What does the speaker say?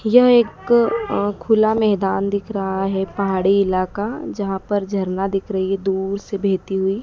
यह एक अ खुला मैदान दिख रहा है पहाड़ी इलाका जहां पर झरना दिख रही है दूर से बहेती हुई--